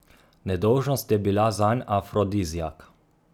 Nedolžnost je bila zanj afrodiziak.